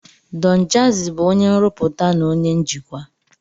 Don Jazi bụ onye nrụpụta na onye njikwa.